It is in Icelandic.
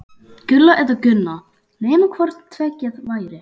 Gulla eða Gunna, nema hvort tveggja væri.